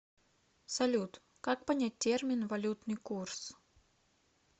салют как понять термин валютный курс